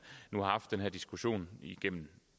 nu har haft den her diskussion igennem